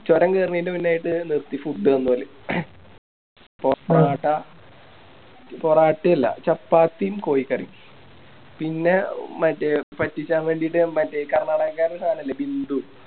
ചൊരം കേറണേൻറെ മുന്നിലായിട്ട് നിർത്തി Food തന്നോല് പൊറാട്ട പൊറാട്ട അല്ല ചപ്പാത്തിയും കോയിക്കറിയും പിന്നെ മറ്റേ പറ്റിക്കാൻ വേണ്ടിട്ട് കർണ്ണാടകക്കാരുടെ സാധനല്ലേ ബിന്ദു